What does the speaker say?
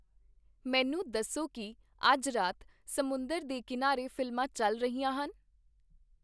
ਮੈਨੂੰ ਦੱਸੋ ਕੀ ਅੱਜ ਰਾਤ ਸਮੁੰਦਰ ਦੇ ਕੀਨਾਰੇ ਫ਼ਿਲਮਾਂ ਚੱਲ ਰਹੀਆਂ ਹਨ